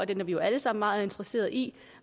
den er vi jo alle sammen meget interesseret i